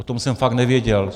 O tom jsem fakt nevěděl!